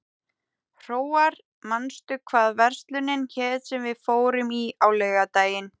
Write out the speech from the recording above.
Hróar, manstu hvað verslunin hét sem við fórum í á laugardaginn?